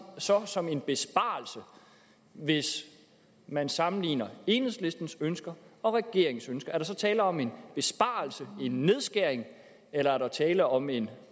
så som en besparelse hvis man sammenligner enhedslistens ønsker og regeringens ønske er der så tale om en besparelse en nedskæring eller er der tale om en